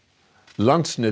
landsnet